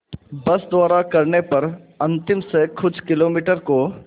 बस द्वारा करने पर अंतिम से कुछ किलोमीटर को